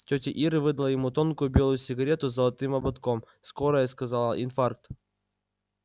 тётя ира выдала ему тонкую белую сигарету с золотым ободком скорая сказала инфаркт